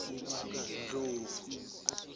ndlovu